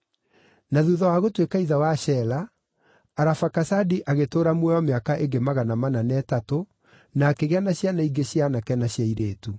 Na thuutha wa gũtuĩka ithe wa Shela, Arafakasadi agĩtũũra muoyo mĩaka ĩngĩ magana mana na ĩtatũ, na akĩgĩa na ciana ingĩ cia aanake na cia airĩtu.